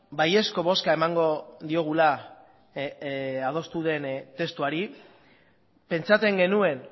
baiezko bozka emango diogula adostu den testuari pentsatzen genuen